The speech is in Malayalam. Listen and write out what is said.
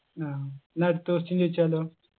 ആ ന്നാ അടുത്ത question ചോയിച്ചാലോ